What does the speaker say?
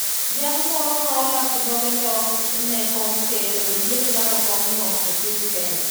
Jal moro ma olap dhoge ndong' ne kom ker oyiene laro Kom no e piny Kenya